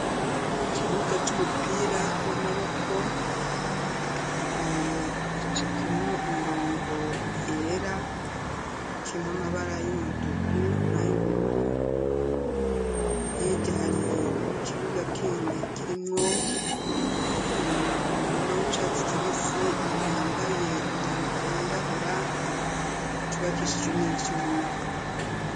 Kukibuga c'umupira w'amaboko gicafemwo imirongo yera imwe amabara y'umutuku na y'ubururu hirya hari kibuga kandi kirimwo mu murima w'icatsi kibisi umuntu yambaye imyambaro yirabura cubakishijwe n'ivyuma.